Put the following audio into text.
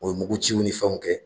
O ye muguciw ni fɛnw kɛ